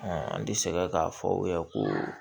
an bɛ sɛgɛn k'a fɔ u ye ko